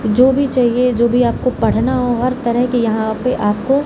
जो भी चाहिए जो भी आपको पढ़ना हो हर तरह के यहाँ पे आपको --